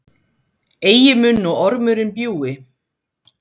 Eigi mun nú ormurinn bjúgi,